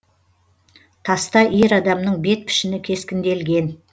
таста ер адамның бет пішіні кескінделген